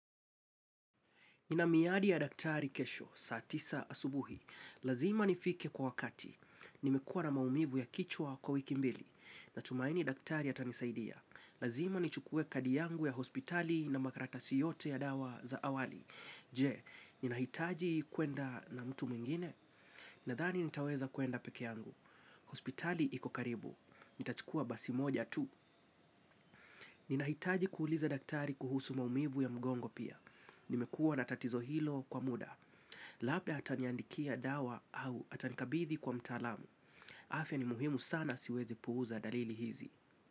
Nina miadi ya daktari kesho, saa tisa asubuhi. Lazima nifike kwa wakati. Nimekua na maumivu ya kichwa kwa wiki mbili. Natumaini daktari atanisaidia. Lazima nichukue kadi yangu ya hospitali na makaratasi yote ya dawa za awali. Je, ninahitaji kwenda na mtu mwingine? Nadhani nitaweza kwenda peke yangu. Hospitali iko karibu. Nitachukua basi moja tu. Ninahitaji kuuliza daktari kuhusu maumivu ya mgongo pia. Nimekua na tatizo hilo kwa muda. Labda ataniandikia dawa au atanikabidhi kwa mtaalamu. Afya ni muhimu sana siwezi puuza dalili hizi.